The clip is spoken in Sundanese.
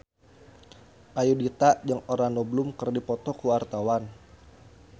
Ayudhita jeung Orlando Bloom keur dipoto ku wartawan